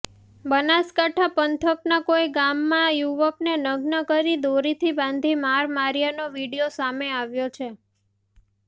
બનાસકાંઠા પંથકના કોઇ ગામમાં યુવકને નગ્ન કરી દોરીથી બાંધી માર માર્યાનો વિડીયો સામે આવ્યો છે